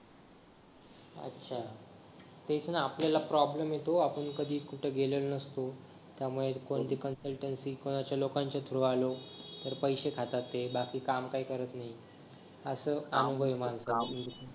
अच्छा तेच ना आपल्याला प्रॉब्लेम येतो आपण कधी कुठे गेलो नसतो त्यामुळे कोणत्या पण साईट किंवा आश्या लोकांच्या थ्रू आलो तर पैशे खातात ते बाकी काही काम करत नाही असा अनुभव आजपर्यंत